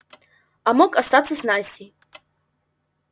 а мог остаться с настей